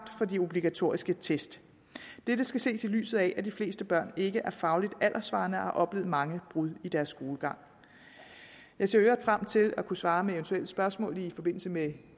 fra de obligatoriske test dette skal ses i lyset af at de fleste børn ikke er fagligt alderssvarende og har oplevet mange brud i deres skolegang jeg ser i øvrigt frem til at kunne svare på eventuelle spørgsmål i forbindelse med